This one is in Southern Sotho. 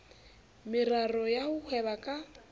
meraro ya ho hweba ka